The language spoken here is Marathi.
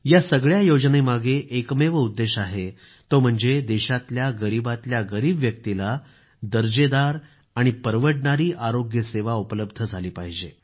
या सगळ्या योजनेमागे एकमेव उद्देश आहे तो म्हणजे देशातल्या गरीबातल्या गरीब व्यक्तीला दर्जेदार आणि परवडणारी आरोग्य सेवा उपलब्ध झाली पाहिजे